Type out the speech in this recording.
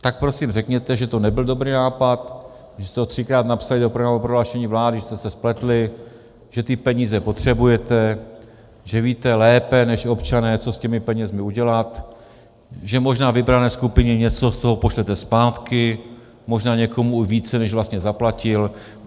Tak prosím řekněte, že to nebyl dobrý nápad, že jste to třikrát napsali do programového prohlášení vlády, že jste se spletli, že ty peníze potřebujete, že víte lépe než občané, co s těmi penězi udělat, že možná vybrané skupině něco z toho pošlete zpátky, možná někomu více, než vlastně zaplatil.